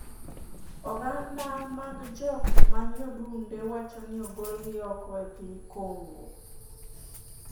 Oganda mag jok manyodunde wacho ni ogolgi oko e piny Congo